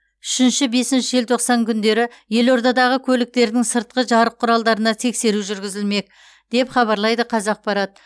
үшінші бесінші желтоқсан күндері елордадағы көліктердің сыртқы жарық құралдарына тексеру жүргізілмек деп хабарлайды қазақпарат